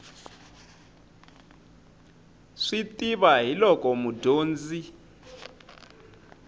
swi tiva hi loko mudyonzi